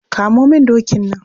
Kamo min dokin can.